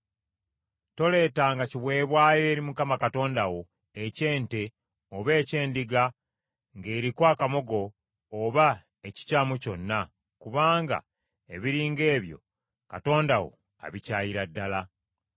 Toleetanga kiweebwayo eri Mukama Katonda wo eky’ente oba eky’endiga ng’eriko akamogo oba ekikyamu kyonna, kubanga ebiri ng’ebyo Katonda wo abikyayira ddala.